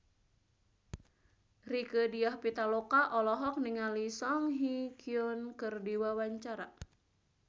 Rieke Diah Pitaloka olohok ningali Song Hye Kyo keur diwawancara